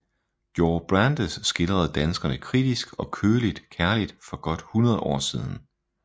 Georg Brandes skildrede danskerne kritisk og køligt kærligt for godt 100 år siden